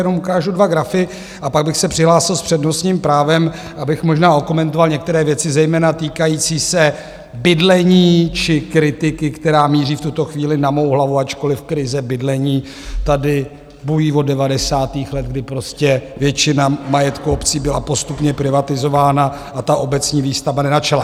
Jenom ukážu dva grafy a pak bych se přihlásil s přednostním právem, abych možná okomentoval některé věci, zejména týkající se bydlení či kritiky, která míří v tuto chvíli na mou hlavu, ačkoliv krize bydlení tady bují od devadesátých let, kdy prostě většina majetku obcí byla postupně privatizována a ta obecní výstavba nezačala.